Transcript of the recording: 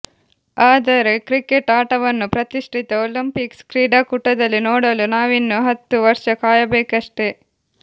ಆದರೆ ಕ್ರಿಕೆಟ್ ಆಟವನ್ನು ಪ್ರತಿಷ್ಠಿತ ಒಲಿಂಪಿಕ್ಸ್ ಕ್ರೀಡಾಕೂಟದಲ್ಲಿ ನೋಡಲು ನಾವಿನ್ನು ಹತ್ತು ವರ್ಷ ಕಾಯಬೇಕಷ್ಟೇ